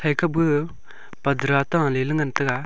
eka bu padara ta leley ngan taga.